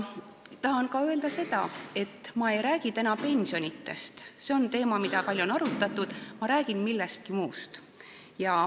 Tahan öelda ka seda, et ma ei räägi täna pensionidest – see on teema, mida on palju arutatud –, ma räägin millestki muust.